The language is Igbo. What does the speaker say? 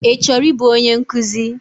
Ị chọrọ ịbụ onye nkụzi?